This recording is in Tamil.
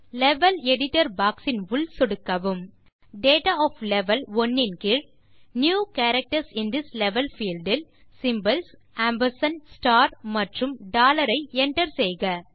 லெவல் எடிட்டர் பாக்ஸ் இன் உள் சொடுக்கவும் டேட்டா ஒஃப் லெவல் 1 இன் கீழ் நியூ கேரக்டர்ஸ் இன் திஸ் லெவல் பீல்ட் இல் சிம்போல்ஸ் ஆம்பர்சாண்ட் ஸ்டார் மற்றும் டாலர் ஐ enterசெய்க